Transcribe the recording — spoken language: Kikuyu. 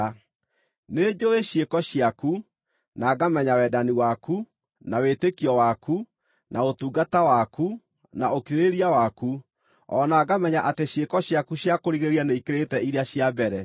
Nĩnjũũĩ ciĩko ciaku, na ngamenya wendani waku, na wĩtĩkio waku, na ũtungata waku, na ũkirĩrĩria waku, o na ngamenya atĩ ciĩko ciaku cia kũrigĩrĩria nĩikĩrĩte iria cia mbere.